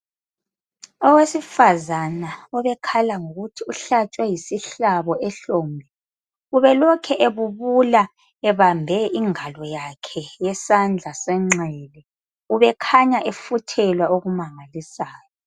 Owesifazana obekhala ngokuthi uhlatshwe yisihlabo ehlombe ubelokhu ebubula ebambe ingalo yakhe yesandla senxele ubekhanya efuthelwa okumangalisayo.